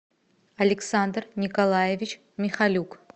александр николаевич михалюк